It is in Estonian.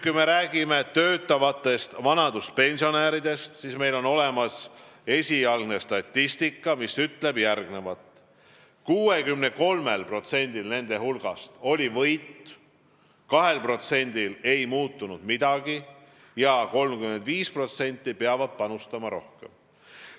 Kui me räägime töötavatest vanaduspensionäridest, siis meil on olemas esialgne statistika, mis ütleb järgmist: 63% nende hulgast võitis, 2%-l ei muutunud midagi ja 35% peab panustama rohkem.